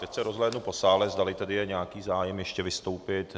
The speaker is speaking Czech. Teď se rozhlédnu po sále, zdali tedy je nějaký zájem ještě vystoupit.